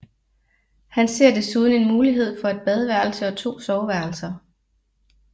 Han ser desuden en mulighed for et badeværelse og to soveværelser